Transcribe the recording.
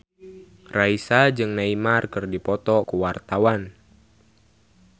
Raisa jeung Neymar keur dipoto ku wartawan